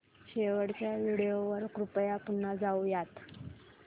शेवटच्या व्हिडिओ वर कृपया पुन्हा जाऊयात